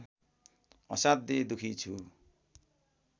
असाध्यै दुखी छु